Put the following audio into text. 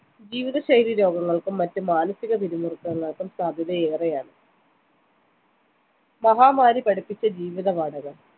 ജീവിതശൈലി രോഗങ്ങൾക്കും മറ്റു മാനസിക പിരിമുറുക്കങ്ങൾക്കും സാധ്യത ഏറെയാണ് മഹാമാരി പഠിപ്പിച്ച ജീവിത പാഠകം